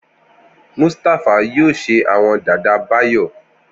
Mustapha yoo ṣe awọn dada Bayo.